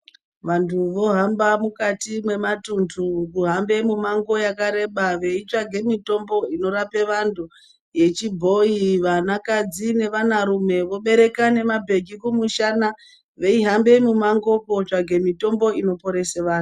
Vantu vohamba mukati mwematundu kuhambe mumango yakareba veitsvage mitombo inorape vantu, yechibhoi vana kadzi nevana rume vobereka nemabhegi kumushana veihambe mumango kotsvage mutombo unoporesa vanhu.